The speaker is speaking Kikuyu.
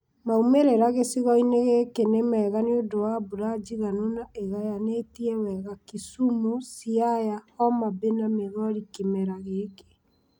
Maumĩrĩra gĩcigo-inĩ gĩkĩ nĩ mega nĩũndũ wa mbura njiganu na ĩĩgayanĩtie wega Kisumu, Siaya, Homabay na Migori kĩmera gĩkĩ